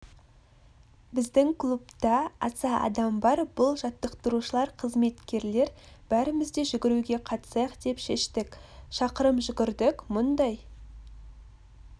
біздің клубта аса адам бар бұл жаттықтырушылар қызметкерлер бәріміз де жүгіруге қатысайық деп шештік шақырымжүгірдік мұндай